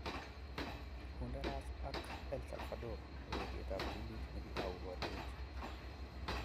Honduras v El Salvador: Ureriet ab ptulit nikitau boriet.